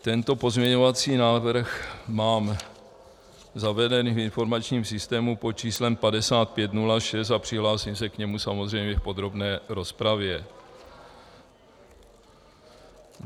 Tento pozměňovací návrh mám zaveden v informačním systému pod číslem 5506 a přihlásím se k němu samozřejmě v podrobné rozpravě.